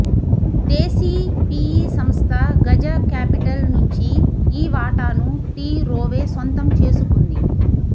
దేశీ PE సంస్థ Gaja capital నుంచీ ఈ వాటాను టీ రోవే సొంతం చేసుకుంది